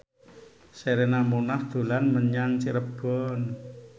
Sherina Munaf dolan menyang Cirebon